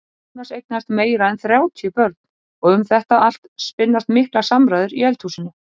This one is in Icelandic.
Jónas eignaðist meira en þrjátíu börn og um þetta allt spinnast miklar samræður í eldhúsinu.